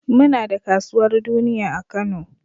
Muna da kasuwar duniya a Kano.